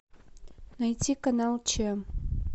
найти канал че